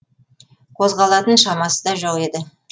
қозғалатын шамасы да жоқ еді